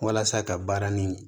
Walasa ka baara nin